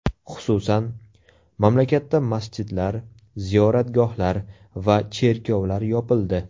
Xususan, mamlakatda masjidlar, ziyoratgohlar va cherkovlar yopildi .